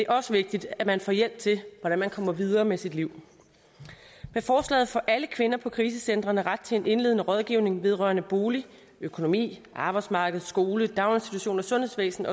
også vigtigt at man får hjælp til hvordan man kommer videre med sit liv med forslaget får alle kvinder på krisecentrene ret til en indledende rådgivning vedrørende bolig økonomi arbejdsmarked skole daginstitution sundhedsvæsen